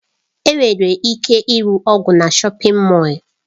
Enwere ike ịre ọgwụ na shọpin Mọll.